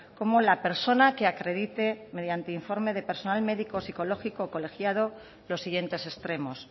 como la persona que acredite mediante informe de personal médico o psicológico colegiado los siguientes extremos